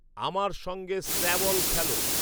আমার সঙ্গে স্ক্র্যাবল খেলো